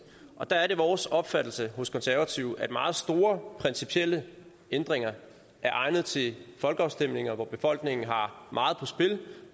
og der er det vores opfattelse hos konservative at meget store principielle ændringer er egnet til folkeafstemninger hvor befolkningen har meget på spil